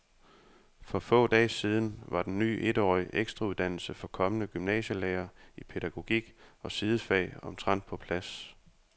For få dage siden var den ny etårige ekstrauddannelse for kommende gymnasielærere i pædagogik og sidefag omtrent på plads.